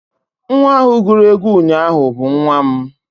nwa ahụ guru egwu ụnyahụ bụ nwa m